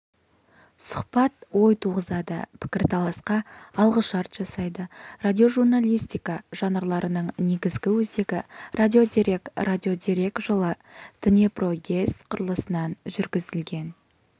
сұхбат ой туғызады пікірталасқа алғышарт жасайды радиожурналистика жанрларының негізгі өзегі радиодерек радиодерек жылы днепрогэс құрылысынан жүргізілген